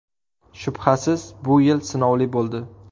Shubhasiz, bu yil sinovli bo‘ldi.